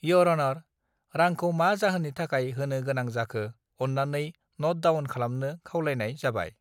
year अनर रांखौ मा जाहोननि थाखाय होनो गोनां जाखो अन्नानै नट डावन खालामनो खावलायनाय जाबाय